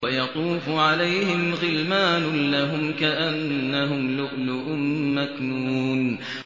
۞ وَيَطُوفُ عَلَيْهِمْ غِلْمَانٌ لَّهُمْ كَأَنَّهُمْ لُؤْلُؤٌ مَّكْنُونٌ